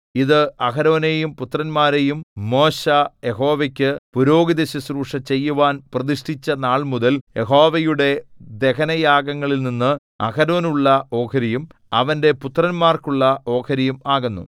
ഇത് അഹരോനെയും പുത്രന്മാരെയും മോശെ യഹോവയ്ക്കു പുരോഹിതശുശ്രൂഷ ചെയ്യുവാൻ പ്രതിഷ്ഠിച്ച നാൾമുതൽ യഹോവയുടെ ദഹനയാഗങ്ങളിൽനിന്ന് അഹരോനുള്ള ഓഹരിയും അവന്റെ പുത്രന്മാർക്കുള്ള ഓഹരിയും ആകുന്നു